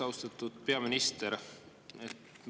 Austatud peaminister!